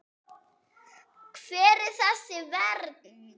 Hver er þessi vernd?